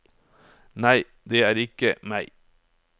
Nei, det er ikke meg.